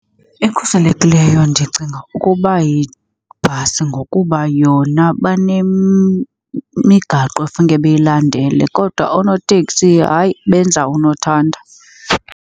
Ekhuselekileyo ndicinga ukuba yibhasi ngokuba yona banemigaqo ekufuneka beyilandele. Kodwa oonoteksi, hayi, benza unothanda.